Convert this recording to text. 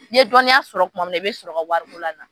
N'i ye dɔnniya sɔrɔ kuma min na i bɛ sɔrɔ ka wari ko lana.